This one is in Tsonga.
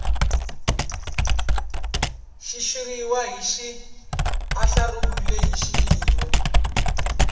xitshuriwa xi andlariwile hi xiyimo